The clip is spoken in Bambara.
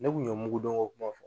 Ne kun ye mugu don ko kuma fɔ.